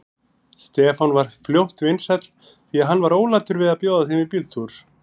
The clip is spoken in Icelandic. Stefán varð fljótt vinsæll, því hann var ólatur að bjóða þeim í bíltúr.